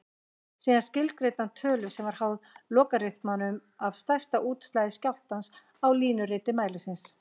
Síðan skilgreindi hann tölu sem var háð lógariþmanum af stærsta útslagi skjálftans á línuriti mælisins.